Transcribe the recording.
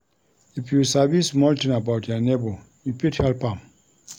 If you sabi small tin about your nebor, you fit help am.